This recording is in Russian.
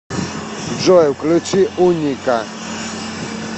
джой включи уника